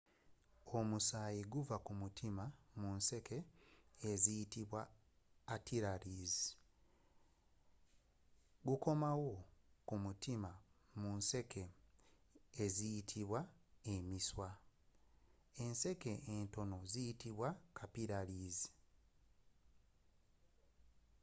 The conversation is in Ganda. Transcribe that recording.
omusayii guva kumutiima mu nseeke eziyitibwa arteries negukoomawo kumutiima mu nseeke eziyitibwa emisiiwa.enseeke entono ziyitibwa capillaries